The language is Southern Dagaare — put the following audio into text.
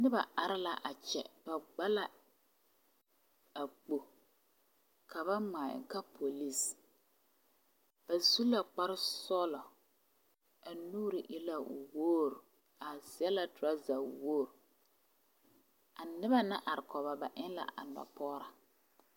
Noba are la a kyɛ ba gba la a kpogri ka ba ŋmaa eŋ ka polisi ba su la kpare sɔglo a b nuuri e la wogri ba seɛ la torasa wogri a noba naŋ are kɔge ba eŋ la a nɔpɔgraa.